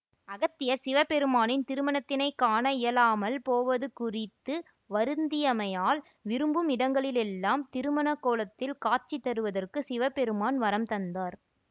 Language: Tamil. அகத்தியர் சிவபெருமானின் திருமணத்தினைக் காண இயலாமல் போவது குறித்து வருந்தியமையால் விரும்பும் இடங்களிலெல்லாம் திருமணக் கோலத்தில் காட்சி தருவதற்கு சிவபெருமான் வரம் தந்தார்